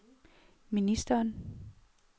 ministeren